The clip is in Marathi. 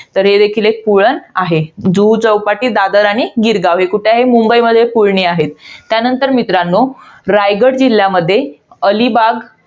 तर हे देखील एक पुळण आहे. जुहू चौपाटी, दादर आणि गिरगाव. हे कुठे आहेत? मुंबईमध्ये पुळणी आहेत. त्यानंतर मित्रांनो, रायगड जिल्ह्यामध्ये अलिबाग.